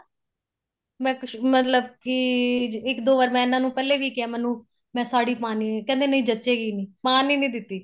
ਮਤ ਮਤਲਬ ਕੀ ਇੱਕ ਦੋ ਵਾਰ ਮੈਂ ਇਹਨਾ ਨੂੰ ਪਹਿਲੇ ਵੀ ਕਿਹਾ ਮੈਨੂੰ ਮੈਂ ਸਾੜੀ ਪਾਣੀ ਏ ਕਹਿੰਦੇ ਨਹੀਂ ਜੱਚੇਗੀ ਨੀਂ ਪਾਣ ਈ ਨਹੀਂ ਦਿੱਤੀ